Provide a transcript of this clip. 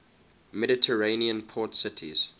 mediterranean port cities